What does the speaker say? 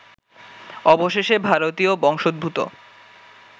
অবশেষে ভারতীয় বংশোদ্ভূত